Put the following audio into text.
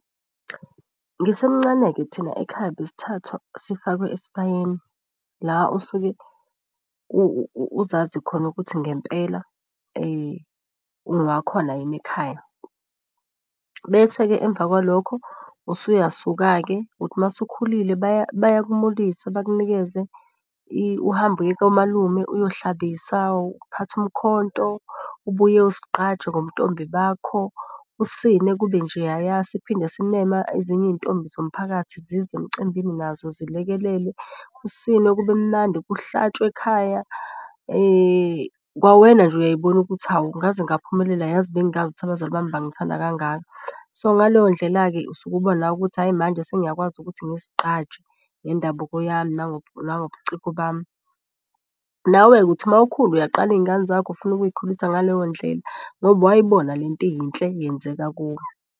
Ngisemncane-ke thina ekhaya besithathwa sifakwe esibayeni la osuke uzazi khona ukuthi ngempela ungowa khona yini ekhaya. Bese-ke emva kwalokho usuya suka-ke, uthi uma usukhulile bayakumulisa. Bakunikeze uhambe uye komalume uyohlabisa uphathe umkhonto ubuye uzigqaje ngobuntombi bakho, usine kube njeyaya. Siphinde simeme ezinye iy'ntombi zomphakathi zize emcimbini nazo zilekelele kusinwe kube mnandi kuhlatshwe ekhaya. Kwawena nje uyayibona ukuthi hawu ngaze ngaphumelela yazi. Bengingayazi ukuthi abazali bami bangithanda kangaka. So ngaleyondlela-ke usuke ubona ukuthi, hhayi manje sengiyakwazi ukuthi ngizigqaje ngendabuko yami. Nangobucingo bami, nawe-ke uthi mawukhula uyaqala iy'ngane zakho ufuna ukuyikhulisa ngaleyo ndlela ngoba wayibona lento iyinhle yenzeka kuwe.